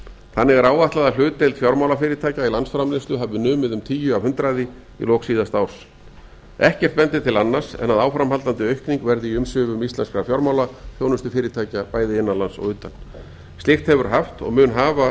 þannig er áætlað að hlutdeild fjármálafyrirtækja til landsframleiðslu hafi numið um tíu prósent í lok síðasta árs ekkert bendir til annars en að áframhaldandi aukning verði í umsvifum íslenskra fjármálaþjónustufyrirtækja bæði innan lands og utan slíkt hefur haft og mun afar